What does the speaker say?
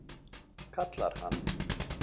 kallar hann.